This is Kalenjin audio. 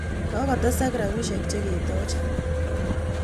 Kokotesak rapisyek che ketoche.